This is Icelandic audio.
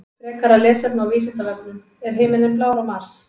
Frekara lesefni á Vísindavefnum: Er himinninn blár á Mars?